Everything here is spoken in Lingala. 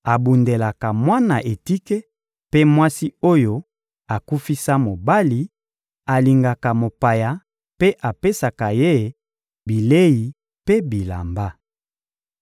abundelaka mwana etike mpe mwasi oyo akufisa mobali, alingaka mopaya mpe apesaka ye bilei mpe bilamba.